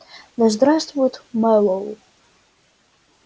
да здравствует мэллоу